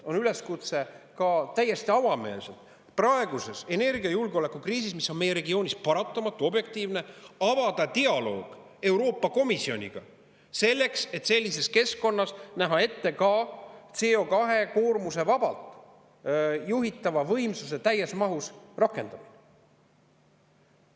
Ja enesestmõistetavalt on praeguses energiajulgeoleku kriisis, mis on meie regioonis paratamatu, objektiivne, täiesti avameelne üleskutse avada dialoog Euroopa Komisjoniga, selleks et sellises keskkonnas näha ette ka CO2- vabalt juhitava võimsuse täies mahus rakendamine.